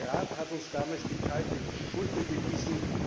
Der Rat hat uns damals die kalte Schulter gewiesen.